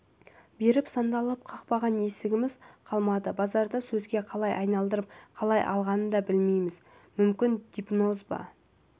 бері сандалып қақпаған есігіміз қалмады базарда сөзге қалай айналдырып қалай алдағанын білмейміз мүмкін гипноз да